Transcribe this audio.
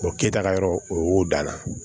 O kɛta yɔrɔ o y'o danna